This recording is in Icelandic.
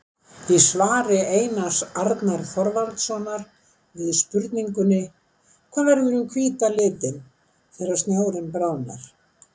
Í svari Einars Arnar Þorvaldssonar við spurningunni: Hvað verður um hvíta litinn þegar snjórinn bráðnar?